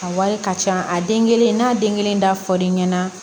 A wari ka ca a den kelen n'a den kelen dafolen ɲɛna